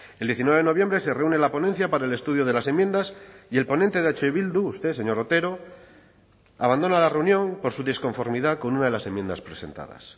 el diecinueve de noviembre se reúne en la ponencia para el estudio de las enmiendas y el ponente de eh bildu usted señor otero abandona la reunión por su disconformidad con una de las enmiendas presentadas